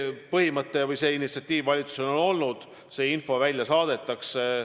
Nii et see initsiatiiv valitsusel on olnud ja see info välja saadetakse.